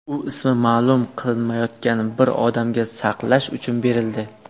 U ismi ma’lum qilinmayotgan bir odamga saqlash uchun berildi.